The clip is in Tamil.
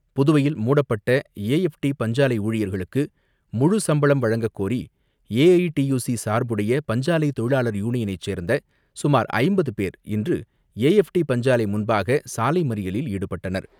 புதுவையில் மூடப்பட்ட ஏஎப்டி பஞ்சாலை ஊழியர்களுக்கு முழு சம்பளம் வழங்கக்கோரி ஏஐடியூசி சார்புடைய பஞ்சாலை தொழிலாளர் யூனியனைச் சேர்ந்த சுமார் ஐம்பது பேர் இன்று ஏஎப்டி பஞ்சாலை முன்பாக சாலை மறியலில் ஈடுபட்டனர்.